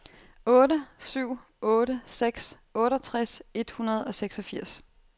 otte syv otte seks otteogtres et hundrede og seksogfirs